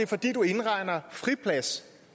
fordi du indregner friplads